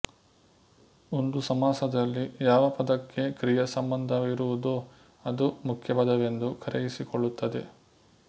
ಒಂದು ಸಮಾಸದಲ್ಲಿ ಯಾವ ಪದಕ್ಕೆ ಕ್ರಿಯಾ ಸಂಬಂಧವಿರುವುದೋ ಅದು ಮುಖ್ಯಪದವೆಂದು ಕರೆಯಿಸಿಕೊಳ್ಳುತ್ತದೆ